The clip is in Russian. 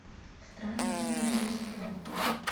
странное рождество